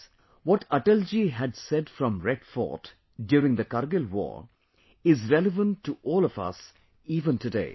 Friends, what Atal ji had said from Red Fort during the Kargil war is relevant to all of us even today